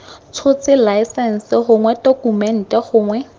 tshotse laesense gongwe tokumente gongwe